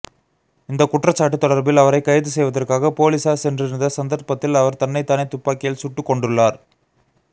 இந்தக் குற்றச்சாட்டு தொடர்பில் அவரைக் கைது செய்வதற்காக பொலிஸார் சென்றிருந்த சந்தர்ப்பத்தில் அவர் தன்னைத்தானே துப்பாக்கியால் சுட்டுக்கொண்டுள்ளார்